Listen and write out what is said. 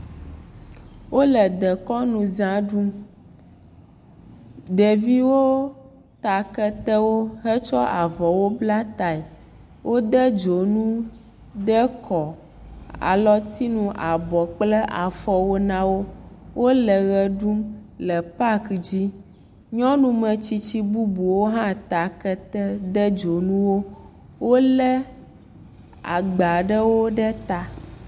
Wole dekɔnuza ɖum. Ɖeviwo ta ketewo hetsɔ avɔwo bla tae. Wode dzonu ɖe kɔ, alɔtinu, abɔ kple afɔwo na wo. Wole ʋe ɖum le paki dzi. Nyɔnu metsitsi bubuwo hã ta kete de dzonuwo. Wole agba ɖewo ɖe ta.